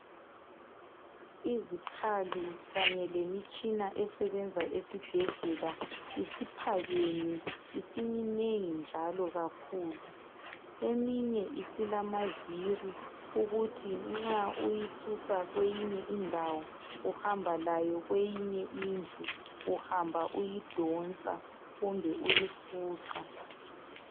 izikhali kanye lemitshina esebenza esibhedlela isiphakeme isiminengi njalo kakhulu njalo okunye isilamavili ukuthi nxa uyisusa kweyinye indawo uhamba layo kweyinye indlu uhamba uyidonsa kumbe uyifuqa